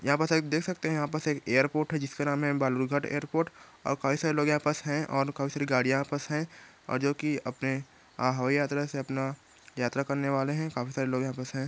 यहां पास एक देख सकते हैं यहां पास एक एअरपोर्ट है जिसका नाम है बालूरघाट एअरपोर्ट और कई सारे लोग यहां पास हैं कई सारे गाड़ियां यहां पास हैं और जो की अपने हवाई यात्रा से अपना यात्रा करने वाले है काफी सारे लोग यहां पास है।